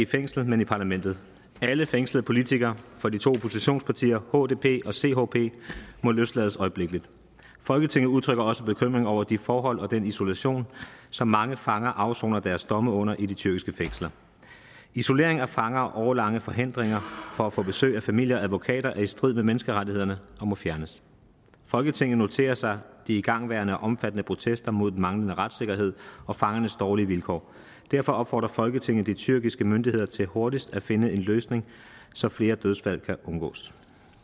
fængsel men i parlamentet alle fængslede politikere for de to oppositionspartier hdp og chp må løslades øjeblikkeligt folketinget udtrykker også bekymring over de forhold og den isolation som mange fanger afsoner deres domme under i de tyrkiske fængsler isolering af fanger og årelange forhindringer fra at få besøg af familie og advokater er i strid med menneskerettighederne og må fjernes folketinget noterer sig de igangværende og omfattende protester mod den manglende retssikkerhed og fangernes dårlige vilkår derfor opfordrer folketinget de tyrkiske myndigheder til hurtigt at finde en løsning så flere dødsfald kan undgås